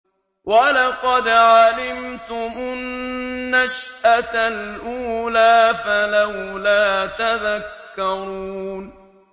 وَلَقَدْ عَلِمْتُمُ النَّشْأَةَ الْأُولَىٰ فَلَوْلَا تَذَكَّرُونَ